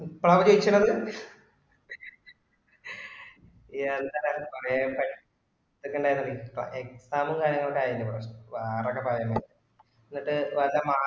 കഴിച്ചേ ആണ് ന്തൊക്കെ ന്തൊക്കെ ഇൻഡേർന്ന exam ഉം കാര്യങ്ങളും ഒക്കെ ആയിണ്ടായിനും ഇവിടെ വേറെ ഒക്കെ പയെന്നെ എന്നിട്ട് ഇവന്റ്റെ